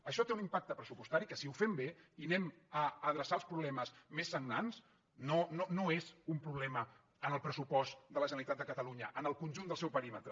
això té un impacte pressupostari que si ho fem bé i anem a adreçar els problemes més sagnants no és un problema en el pressupost de la generalitat de catalunya en el conjunt del seu perímetre